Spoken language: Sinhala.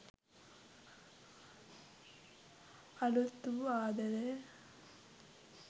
අලුත් වූ ආදරය